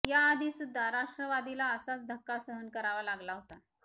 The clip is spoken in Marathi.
या आधी सुद्धा राष्ट्रवादीला असाच धक्का सहन करावा लागला होता